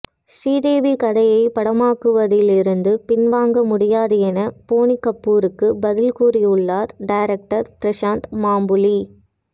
ஸ்ரீதேவி கதையை படமாக்குவதிலிருந்து பின்வாங்க முடியாது என போனி கபூருக்கு பதில் கூறியுள்ளார் டைரக்டர் பிரசாந்த் மாம்புலி